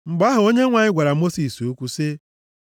Mgbe ahụ Onyenwe anyị gwara Mosis okwu sị,